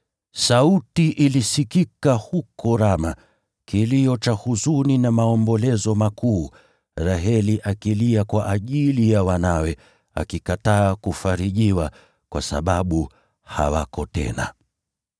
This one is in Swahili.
“Sauti ilisikika huko Rama, maombolezo na kilio kikubwa, Raheli akilia kwa ajili ya wanawe, akikataa kufarijiwa, kwa sababu hawako tena.”